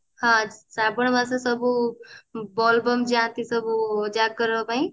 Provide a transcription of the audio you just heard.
ହଁ ଶ୍ରାବଣ ମାସ ସବୁ ବୋଲବମ ଯାନ୍ତି ସବୁ ଜାଗର ପାଇଁ